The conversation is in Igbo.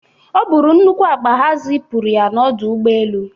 O buru nnukwu akpa ha zipụrụ ya n'ọdụ ụgbọ elu.